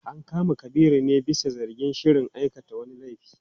An kama Kabiru ne bisa zargin shirin aikata wani laifi.